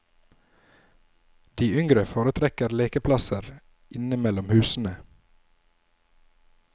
De yngre foretrekker lekeplasser inne mellom husene.